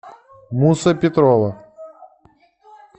муса петрова